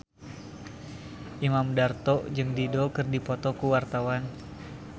Imam Darto jeung Dido keur dipoto ku wartawan